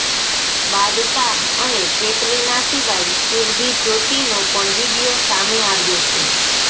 બાદશાહ અને કેટરીના સિવાય સુરભી જ્યોતિનો પણ વિડીયો સામે આવ્યો છે